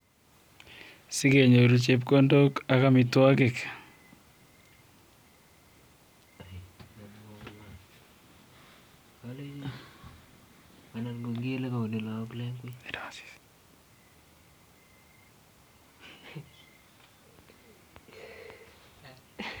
Sigenyoruu chepkondok ak amitwogik.